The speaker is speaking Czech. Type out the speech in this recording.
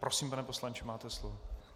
Prosím, pane poslanče, máte slovo.